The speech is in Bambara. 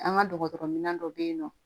An ka dɔgɔtɔrɔminɛn dɔ bɛ yen nɔ